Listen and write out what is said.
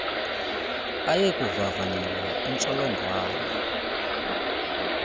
aye kuvavanyelwa intsholongwane